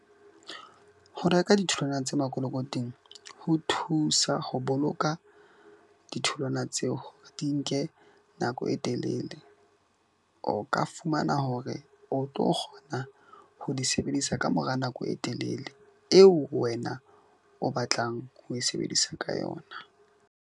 Ho reka ditholwana tse makolokoting ho thusa ho boloka ditholwana tseo di nke nako e telele. O ka fumana hore o tlo kgona ho di sebedisa ka mora nako e telele eo wena o batlang ho e sebedisa ka yona.